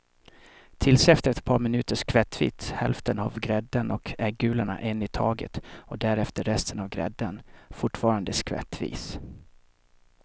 Tillsätt efter ett par minuter skvättvis hälften av grädden och äggulorna en i taget och därefter resten av grädden, fortfarande skvättvis.